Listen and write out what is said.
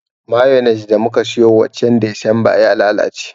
Mayones da muka siyo wancan desemba ya lalace